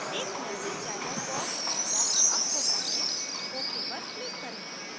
एक message dialog box popsअप होता है ok पर click करें